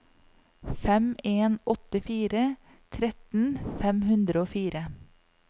fem en åtte fire tretten fem hundre og fire